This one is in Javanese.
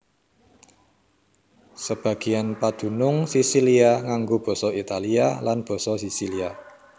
Sebagéan padunung Sisilia nganggo basa Italia lan basa Sisilia